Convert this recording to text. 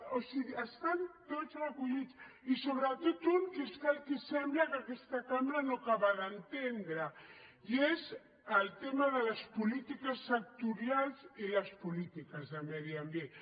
o sigui estan tots recollits i sobretot un que és el que sembla que aquesta cambra no acaba d’entendre i és el tema de les polítiques sectorials i les polítiques de medi ambient